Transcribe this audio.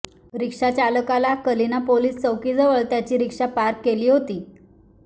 रिक्षाचालकाला Kalina police चौकीजवळ त्याची रिक्षा पार्क केली होती